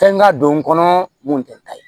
Fɛn ka don n kɔnɔ mun tɛ ta ye